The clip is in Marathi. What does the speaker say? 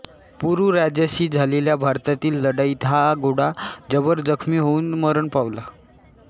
पुरू राजाशी झालेल्या भारतातील लढाईत हा घोडा जबर जखमी होऊन मरण पावला